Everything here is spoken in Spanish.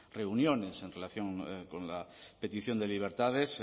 reuniones en relación con la petición de libertades